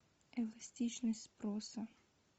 эластичность спроса